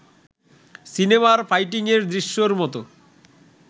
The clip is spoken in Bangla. সিনেমার ফাইটিংয়ের দৃশ্যের মতো